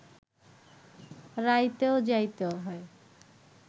রাইতেও যাইতে হয়